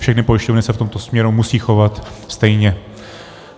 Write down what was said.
Všechny pojišťovny se v tomto směru musí chovat stejně.